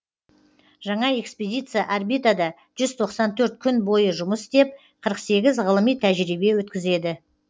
жаңа экспедиция орбитада жүз тоқсан төрт күн бойы жұмыс істеп қырық сегіз ғылыми тәжірибе өткізеді